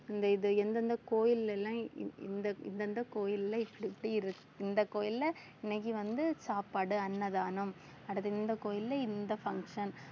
இந்த இது எந்த எந்த கோயில்லலாம் இ~ இந்~ இந்த இந்த கோயில்ல இப்படி இப்படி இருக்~ இந்த கோயில்ல இன்னைக்கு வந்து சாப்பாடு அன்னதானம் அடுத்து இந்த கோயில்ல இந்த function